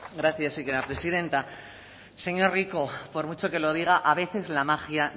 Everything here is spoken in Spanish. gracias señora presidenta señor rico por mucho que lo diga a veces la magia